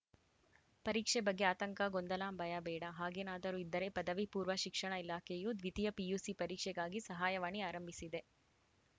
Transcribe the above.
ಪರೀಕ್ಷೆ ಬಗ್ಗೆ ಆತಂಕ ಗೊಂದಲ ಭಯ ಬೇಡ ಹಾಗೇನಾದರೂ ಇದ್ದರೆ ಪದವಿ ಪೂರ್ವ ಶಿಕ್ಷಣ ಇಲಾಖೆಯು ದ್ವಿತೀಯ ಪಿಯುಸಿ ಪರೀಕ್ಷೆಗಾಗಿ ಸಹಾಯವಾಣಿ ಆರಂಭಿಸಿದೆ